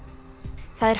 það er